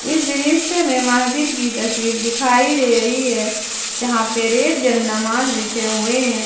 इस दृश्य में मस्जिद की तस्वीर दिखाई दे रही है जहां पर एक जनमाज बिछे हुए हैं।